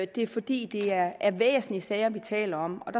det er fordi det er er væsentlige sager vi taler om